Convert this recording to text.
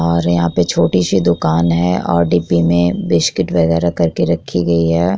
और यहाँ पे छोटी सी दुकान है और डिब्बे में बिस्किट वगैरह करके रखी गयी हैं ।